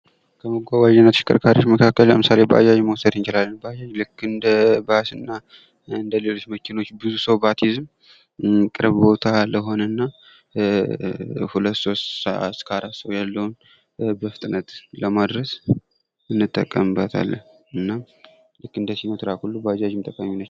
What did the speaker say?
ከመጓጓዣ ተሽከርካሪዎች መካክለ ለምሳል ባጃጅ መዉሰድ እንቻላለን። ባጃጅ እንደባስ እና እንደሌሎች መኪናዎች ብዙ ሰው ባትይዝም ቅርብ ቦታ ለሆነ ና ሁለት እስከ አራት ለሆነ በፍጥነት ታደርሳለች።